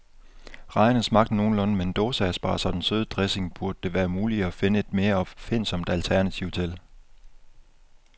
Rejerne smagte nogenlunde, men dåseasparges og den søde dressing burde det være muligt at finde et mere opfindsomt alternativ til.